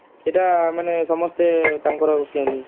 ସେଇଟା ମାନେ ସମସ୍ତେ ତାଙ୍କର କିଏ